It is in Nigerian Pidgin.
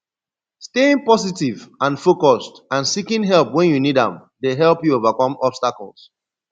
staying positive and focused and seeking help when you need am dey help you overcome obstacles